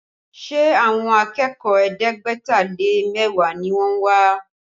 Ṣé àwọn akẹ́kọ̀ọ́ ẹ̀ẹ́dẹ́gbẹ̀ta lé mẹ́wàá ni wọ́n wá?